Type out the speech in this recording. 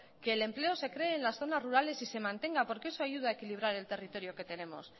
que el empleo se creé en las zonas rurales y se mantenga porque eso ayuda a equilibrar el territorio que tenemos